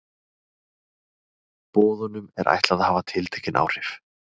Boðunum er ætlað að hafa tiltekin áhrif.